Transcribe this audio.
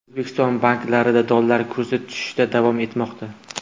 O‘zbekiston banklarida dollar kursi tushishda davom etmoqda.